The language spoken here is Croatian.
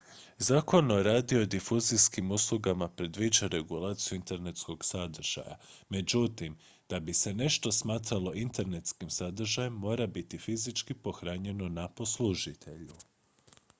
zakon o radiodifuzijskim uslugama predviđa regulaciju internetskog sadržaja; međutim da bi se nešto smatralo internetskim sadržajem mora biti fizički pohranjeno ​​na poslužitelju